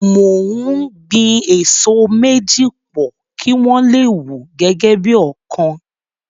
Mo ń gbin èso méjì pò, kí wọ́n le wù gẹ́gẹ́ bí ọ̀kan.